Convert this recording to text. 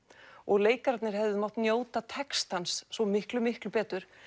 og leikararnir hefðu mátt njóta textans svo miklu miklu betur